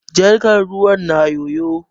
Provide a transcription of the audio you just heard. Jarkar ruwan na yoyo.